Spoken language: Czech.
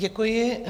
Děkuji.